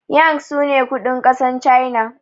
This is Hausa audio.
yang sune kudin kasar china